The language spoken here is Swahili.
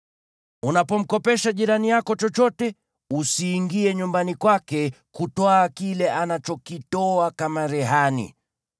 Unapomkopesha jirani yako chochote, usiingie nyumbani kwake kutwaa kile anachokitoa kama rehani.